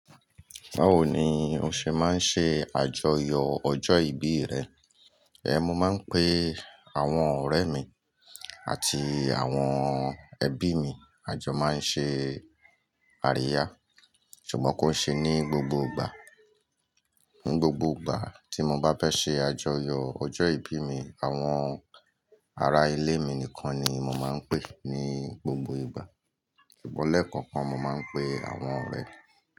Báwo ni o ṣe máa ń ṣe àjọyọ̀ ọjọ́ ìbí rẹ? Ẹ mo máa ń pe àwọn ọ̀rẹ́ mi àti àwọn ẹbí mi. Àjọ máa ń ṣe àríyá. Ṣùgbọ́n kó ṣe ní gbogbo ìgbà. Ní gbogbo ìgbà tí mo bá fẹ́ ṣe àjọyọ̀ ọjọ́ ìbí mi, àwọn ará ilé mi nìkan ni mo máa ń pe ní gbogbo ìgbà. Ṣùgbọ́n lẹ́ẹ̀kọọkan, mo máa ń pe àwọn ọ̀rẹ́.